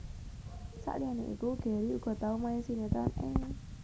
Saliyané iku Gary uga tau main sinetron ing